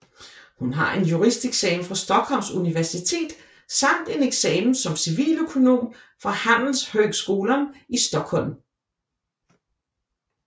Hun har en juristeksamen fra Stockholms Universitet samt en eksamen som civiløkonom fra Handelshögskolan i Stockholm